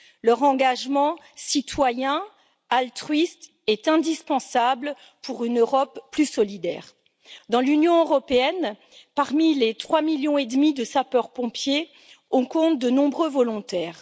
Leur engagement citoyen, altruiste, est indispensable pour une Europe plus solidaire. Dans l'Union européenne, parmi les 3 millions et demi de sapeurs pompiers, on compte de nombreux volontaires.